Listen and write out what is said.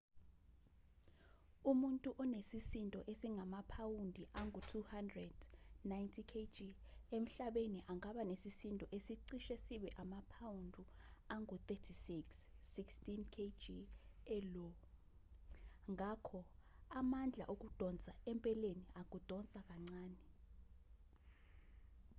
umuntu onesisindo esingamaphawundi angu-200 90kg emhlabeni angaba nesisindo esicishe sibe amaphawundi angu-36 16kg e-io. ngakho amandla okudonsa empeleni akudonsa kancane